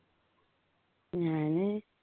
ഞാന്